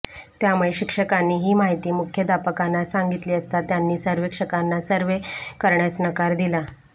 त्यामुळे शिक्षकांनी ही माहिती मुख्याध्यापकांना सांगितली असता त्यांनी सर्वेक्षकांना सर्वे करण्यास नकार दिला